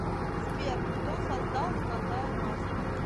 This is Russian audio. сбер кто создал золотая маска